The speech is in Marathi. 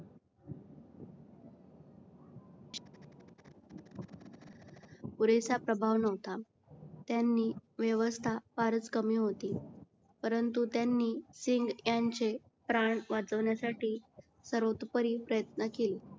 पुरेसा प्रभाव न्हवता त्यांनी व्यवस्था फारच कमी होती परंतु त्यांनी सिंग यांचे प्राण वाचवण्यासाठी सर्वोतपरी प्रयत्न केले.